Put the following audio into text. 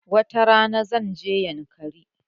Wata rana, zan je yankari.